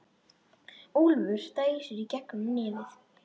Úlfur dæsir í gegnum nefið.